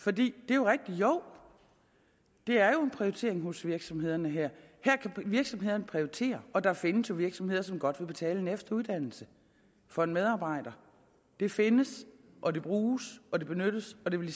for det er rigtigt jo det er en prioritering hos virksomhederne her kan virksomhederne prioritere og der findes jo virksomheder som godt vil betale en efteruddannelse for en medarbejder det findes og det bruges og det benyttes og det vil i